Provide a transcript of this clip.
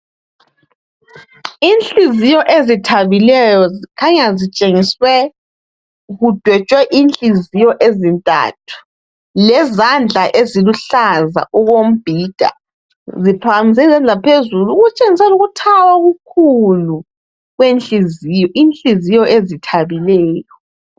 Inhliziyo ezithabileyo zikhanya zitshengiswe kudwetshwe inhliziyo ezintathu lezandla eziluhlaza okombhida ziphakanyiselwe phezulu okutshengisela ukuthaba okukhulu kwenhliziyo. Inhliziyo ezithabileyo.